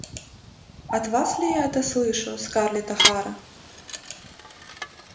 от вас ли я это слышу скарлетт охара